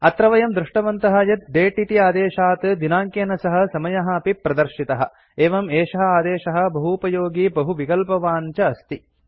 अत्र वयं दृष्टवन्तः यत् दते इति आदेशात् दिनाङ्केन सह समयः अपि प्रदर्शितः एवम् एषः आदेशः बहूपयोगी बहुविकल्पवान् च अस्ति